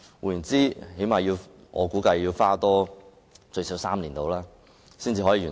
據我估計，整個計劃要多花最少3年時間才可完成。